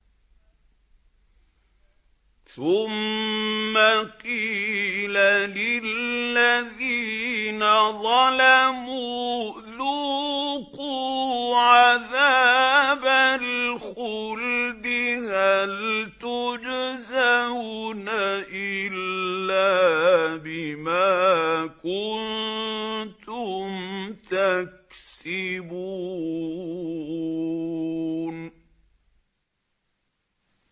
ثُمَّ قِيلَ لِلَّذِينَ ظَلَمُوا ذُوقُوا عَذَابَ الْخُلْدِ هَلْ تُجْزَوْنَ إِلَّا بِمَا كُنتُمْ تَكْسِبُونَ